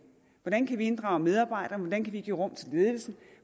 hvordan kan vi inddrage medarbejderne hvordan kan vi give rum til ledelsen